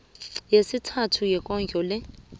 yesithathu yekondlo le